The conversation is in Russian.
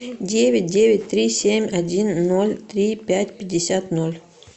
девять девять три семь один ноль три пять пятьдесят ноль